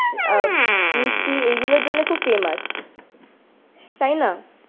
আহ মিষ্টি এইগুলোর জন্য খুব ফেমাস। তাই না?